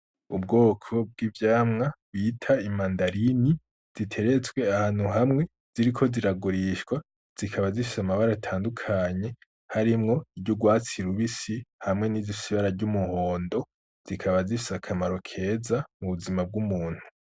Ubwoko bw'ivyamwa bita imandarini ziteretswe ahantu hamwe ziriko ziragurishwa zikaba zifise amabara atandukanye hariyo izurwatsi rubisi hamwe nizifise ibara ry'umuhondo zikaba zifise akamaro keza mu buzima bw'umuntu.